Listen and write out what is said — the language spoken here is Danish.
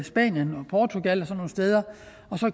spanien og portugal og sådan nogle steder og